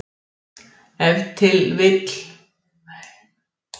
Ef til vill hefur raunhyggjan átt eilítið meiri vinsældum að fagna innan heimspekinnar.